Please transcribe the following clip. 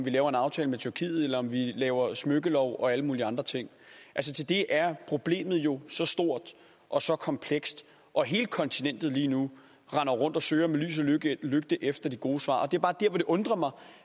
vi laver en aftale med tyrkiet eller om vi laver smykkelov og alle mulige andre ting til det er problemet jo så stort og så komplekst og hele kontinentet render lige nu rundt og søger med lys og lygte efter det gode svar det er bare det undrer mig